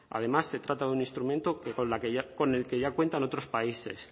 además se trata de un instrumento con el que ya cuentan otros países